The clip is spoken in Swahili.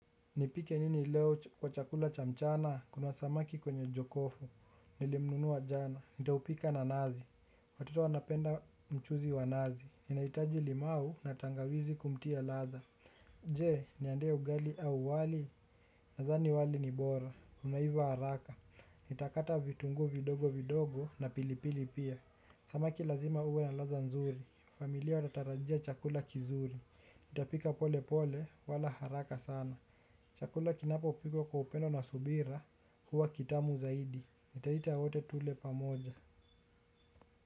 Nipike nini leo kwa chakula cha mchana? Kuna samaki kwenye jokofu. Nilimnunua jana. Nitaupika na nazi. Watoto wanapenda mchuzi wa nazi. Inahitaji limau na tangawizi kumtia ladhaa. Je, niandae ugali au wali? Nadhani wali ni bora. Unaiva haraka. Nitakata vitunguu vidogo vidogo na pilipili pia. Samaki lazima uwe na ladhaa nzuri, familia wanatarajia chakula kizuri, nitapika pole pole wala haraka sana. Chakula kinapopikwa kwa upendo na subira huwa kitamu zaidi, nitaita wote tule pamoja.